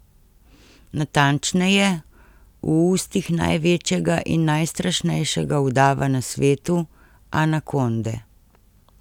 Natančneje, v ustih največjega in najstrašnejšega udava na svetu, anakonde.